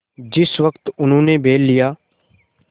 जिस वक्त उन्होंने बैल लिया